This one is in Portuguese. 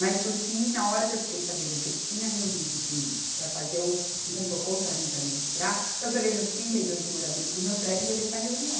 Mas por fim, na hora que eu fiquei sabendo que ele tinha reunido os síndicos para fazer um, um complô contra mim para me retirar, eu peguei meus trinta e dois moradores do meu prédio e levei para a reunião.